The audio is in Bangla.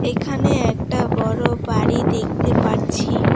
এখানে একটা বড় বাড়ি দেখতে পারছি।